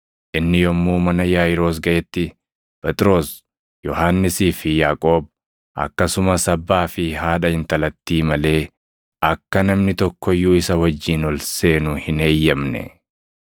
Inni yommuu mana Yaaʼiiroos gaʼetti Phexros, Yohannisii fi Yaaqoob akkasumas abbaa fi haadha intalattii malee akka namni tokko iyyuu isa wajjin ol seenu hin eeyyamne.